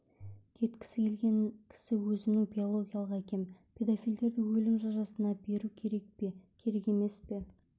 кеткісі келген кісі өзімнің биологиялық әкем педофилдерді өлім жазасына беру керек пе керек емес пе